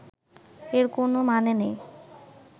এর কোনও মানে নেই